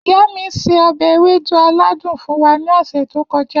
Iya mi se obe ewedu aladun fun wa ni ose to koja.